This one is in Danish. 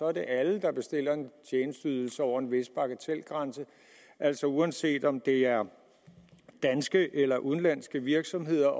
er det alle der bestiller en tjenesteydelse over en vis bagatelgrænse altså uanset om det er danske eller udenlandske virksomheder